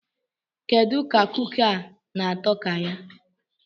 Kedu ka kuki a na-atọ ka ya?